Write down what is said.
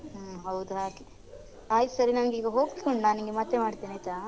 ಹು ಹೌದು ಹಾಗೆ ಆಯ್ತ್ ಸರಿ ನಂಗ್ ಈಗ ಹೋಗ್ಲಿಕುಂಟು ನಾನ್ ನಿನಗೆ ಮತ್ತೆ ಮಾಡ್ತೇನೆ ಆಯ್ತಾ.